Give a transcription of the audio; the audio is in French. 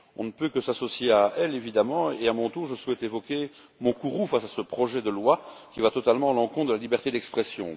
On ne peut que s'associer à eux, évidemment et, à mon tour, je souhaite exprimer mon courroux face à ce projet de loi qui va totalement à l'encontre de la liberté d'expression.